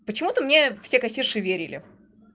почему ты мне все кассирши верили